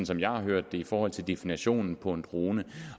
som jeg har hørt det i forhold til definitionen på en drone